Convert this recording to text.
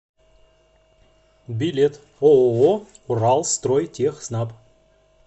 билет ооо уралстройтехснаб